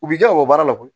U b'i kɛ o baara la koyi